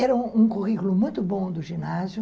Era um currículo muito bom do ginásio.